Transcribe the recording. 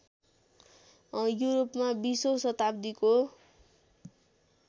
युरोपमा २०औं शताब्दीको